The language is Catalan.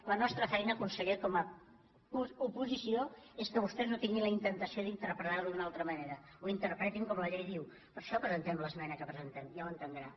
la nostra feina conseller com a oposició és que vos·tès no tinguin la temptació d’interpretar·ho d’una altra manera que ho interpretin com la llei diu per això pre·sentem l’esmena que presentem ja ho entendrà